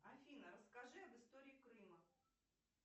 афина расскажи об истории крыма